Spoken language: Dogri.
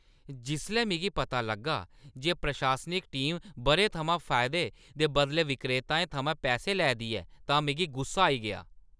जिसलै मिगी पता लग्गा जे प्रशासनिक टीम ब'रें थमां फायदे दे बदलै विक्रेताएं थमां पैहे लै दी ऐ तां मिगी गुस्सा आई गेआ।